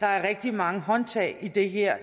der er rigtig mange håndtag i det her